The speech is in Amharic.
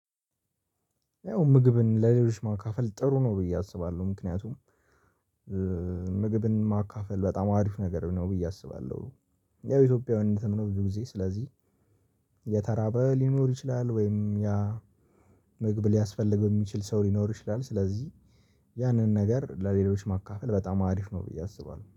ያው ምግብን ለሌሎች ማካፈል ጥሩ ነው ብዬ አስባለሁ ምክንያቱም ምግብን ማካፈል በጣም አሪፍ ነገር ነው ብዬ አስባለሁ። ያው ኢትዮጵያዊነትም ነው ስለዚህ የተራበ ሊኖር ይችላል ወይም ያ ምግብ ሊያስፈልገው የሚችል ሰው ሊኖር ይችላል። ስለዚህ ያንን ነገር ለሌሎች ማካፈል በጣም አሪፍ ነው ብዬ አስባለሁ